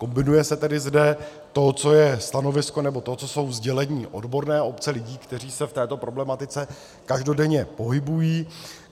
Kombinuje se tedy zde to, co je stanovisko, nebo to, co jsou sdělení odborné obce lidí, kteří se v této problematice každodenně pohybují.